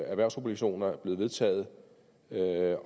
erhvervsobligationer er blevet vedtaget